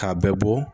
K'a bɛɛ bɔ